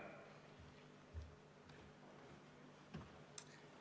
Palun!